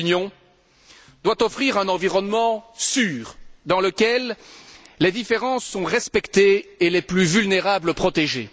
L'Union doit offrir un environnement sûr, dans lequel les différences sont respectées et les plus vulnérables protégés.